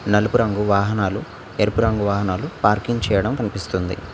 నలుపు రంగు వాహనాలు ఎరుపు రంగు వాహనాలు పార్కింగ్ చేయడం కనిపిస్తుంది.